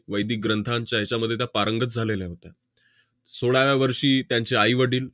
वैदिक ग्रंथांच्या हेच्यामध्ये त्या पारंगत झालेल्या होत्या. सोळाव्या वर्षी त्यांचे आईवडील